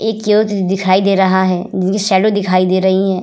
एक यूथ दिखाई दे रहा है जिनकी शैडो दिखाई दे रहीं हैं।